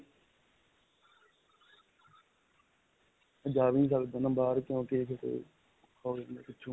ਮੈਂ ਜਾਂ ਵੀ ਨਹੀਂ ਸਕਦਾ ਨਾ ਬਾਹਰ ਕਿਉਂਕਿ ਫਿਰ ਔਖਾ ਹੋ ਜਾਂਦਾ ਪਿੱਛੋ.